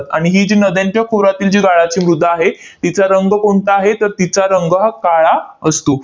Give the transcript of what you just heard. आणि ही जी नद्यांच्या खोऱ्यातील जी गाळाची मृदा आहे, तिचा रंग कोणता आहे? तर तिचा रंग हा काळा असतो.